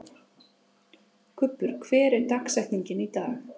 Kubbur, hver er dagsetningin í dag?